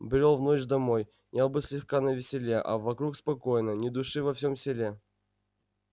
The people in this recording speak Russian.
брёл в ночь домой я был слегка на веселе а вокруг спокойно ни души во всем селе